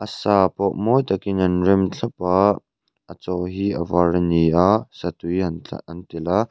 a sa pawh mawi takin an rem thlap a a chaw hi a var a ni a satui an tla an telh a.